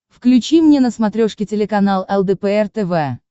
включи мне на смотрешке телеканал лдпр тв